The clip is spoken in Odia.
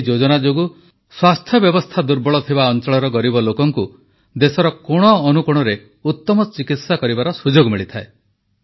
ଏହି ଯୋଜନା ଯୋଗୁଁ ସ୍ୱାସ୍ଥ୍ୟ ବ୍ୟବସ୍ଥା ଦୁର୍ବଳ ଥିବା ଅଂଚଳର ଗରିବ ଲୋକଙ୍କୁ ଦେଶର କୋଣଅନୁକୋଣରେ ଉତ୍ତମ ଚିକିତ୍ସା କରିବାର ସୁଯୋଗ ମିଳିଥାଏ